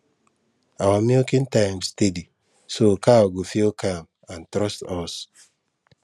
our milking time steady so cow go feel calm and trust us